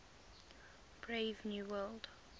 brave new world